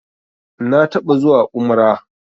Na taɓa zuwa umrah